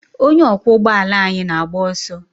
Onye ọkwọ ụgbọ ala anyị na-agba ọsọ.